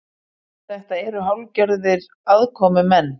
Þetta eru hálfgerðir aðkomumenn